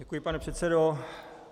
Děkuji, pane předsedo.